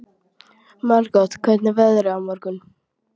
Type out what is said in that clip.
Margot, hvernig er veðrið á morgun?